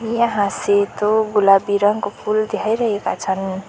यहाँ सेतो गुलाबी रङको फूल देखाइरहेका छन्।